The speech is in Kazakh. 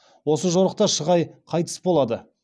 осы жорықта шығай қайтыс болады